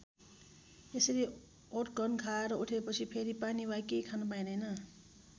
त्यसरी ओटघन खाएर उठेपछि फेरि पानी वा केही खान पाइँदैन।